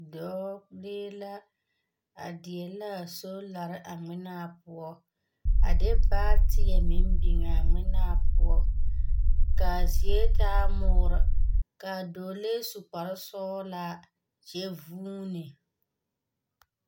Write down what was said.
Dɔɔ, lee la, a deɛ laa solare a ŋmenaa poɔ, a de baateɛ meŋ biŋaa ŋmenaa poɔ kaa zie taa moore, kaa dɔɔlee su kparesɔgelaa kyɛ vuuni.